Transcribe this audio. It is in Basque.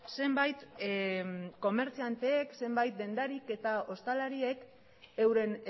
zenbait dendarik eta ostalariek euren